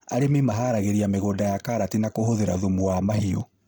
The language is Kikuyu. Arĩmi maharagĩrĩria mĩgũnda ya karati na kũhũthĩra thumu wa mahiũ